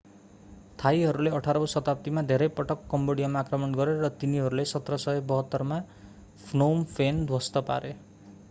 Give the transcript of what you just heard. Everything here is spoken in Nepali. थाईहरूले 18 औं शताब्दीमा धेरै पटक कम्बोडियामा आक्रमण गरे र तिनीहरूले 1772 मा phnom phen ध्वस्त पारे